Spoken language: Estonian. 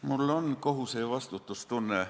Mul on kohuse- ja vastutustunne.